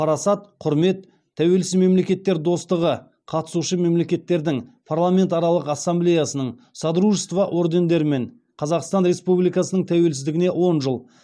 парасат құрмет тәуелсіз мемлекеттер достығы қатысушы мемлекеттердің парламентаралық ассамблеясының содружество ордендерімен қазақстан республикасының тәуелсіздігіне он жыл